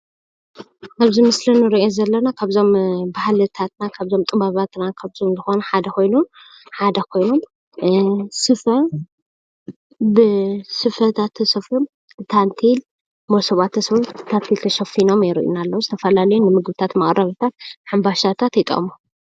አብዚ ምስሊ እንሪኦ ዘለና ካብዞም ባህልታትና ካብዞም ጥበባትና ካብዞም ዝኮነ ሓደ ኮይኑ ስፈ ብሰፈታተ ተሰፍዩም ታኒቴል ሞሰባት ታኒቴለ ተሽፊኖም የሪኢና አለዉ ዝተፈላለዩ መቀረብታተ ሕምባሻታት ይጠቅሙ፡፡